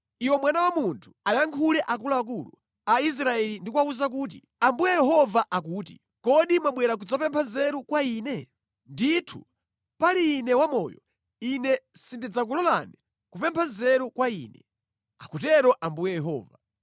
“Iwe mwana wa munthu, ayankhule akuluakulu a Israeli ndi kuwawuza kuti, ‘Ambuye Yehova akuti: Kodi mwabwera kudzapempha nzeru kwa Ine? Ndithu pali Ine wamoyo, Ine sindidzakulolani kupempha nzeru kwa Ine, akutero Ambuye Yehova.’